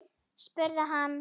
spurði hann